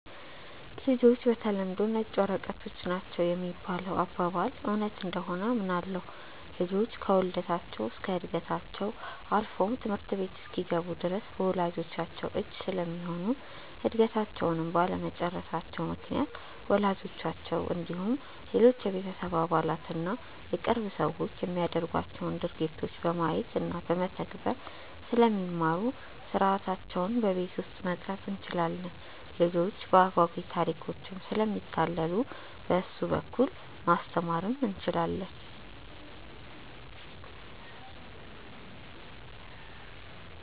''ልጆች በተለምዶ ነጭ ወረቀቶች ናቸው ''የሚባለው አባባል እውነት እንደሆነ አምናለሁ። ልጆች ከውልደታቸው እስከ ዕድገታቸው አልፎም ትምህርት ቤት እስኪገቡ ድረስ በወላጅቻቸው እጅ ስለሚሆኑ እድገታቸውንም ባለመጨረሳቸው ምክንያት ወላጆቻቸው እንዲሁም ሌሎች የቤተሰብ አባላት እና የቅርብ ሰዎች የሚያደርጓቸውን ድርጊቶች በማየት እና በመተግበር ስለሚማሩ ሥርዓታቸውን በቤት ውስጥ መቅረፅ እንችላለን። ልጆች በአጓጊ ታሪኮችም ስለሚታለሉ በእሱ በኩል ማስተማር እንችላለን።